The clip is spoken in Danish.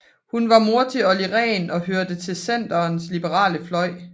Hun var mor til Olli Rehn og hørte til Centerns liberale fløj